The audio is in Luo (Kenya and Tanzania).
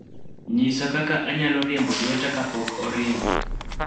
nyisa kaka anyalo riembo lweta kapok oringo